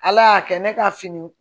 Ala y'a kɛ ne ka fini